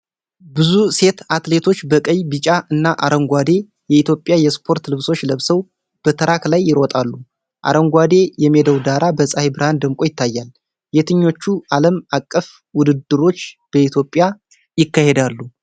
ብዙ ሴት አትሌቶች በቀይ፣ ቢጫ እና አረንጓዴ የኢትዮጵያ የስፖርት ልብሶች ለብሰው በትራክ ላይ ይሮጣሉ። አረንጓዴ የሜዳው ዳራ በፀሐይ ብርሃን ደምቆ ይታያል። የትኞቹ ዓለም አቀፍ ውድድሮች በኢትዮጵያ ይካሄዳሉ?